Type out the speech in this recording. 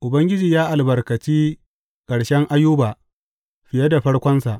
Ubangiji ya albarkaci ƙarshen Ayuba fiye da farkonsa.